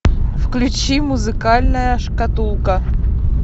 включи музыкальная шкатулка